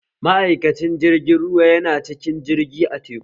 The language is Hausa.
Ma'aikacin jirgin ruwa yana cikin jirgi a teku